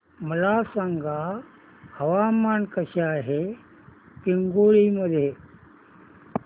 मला सांगा हवामान कसे आहे पिंगुळी मध्ये